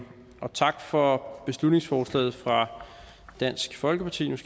tak for beslutningsforslaget fra dansk folkeparti